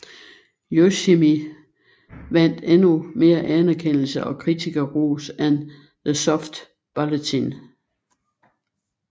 Yoshimi vandt endnu mere anerkendelse og kritikerros end The Soft Bulletin